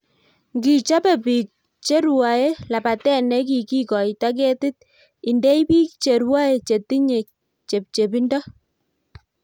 Ngi chobe bik cheruae labatet negikoitoi ketit indei biik cheruae chetinye chepchepindo